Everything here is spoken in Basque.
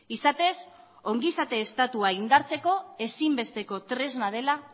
izatez ongizate estatua indartzeko ezinbesteko tresna dela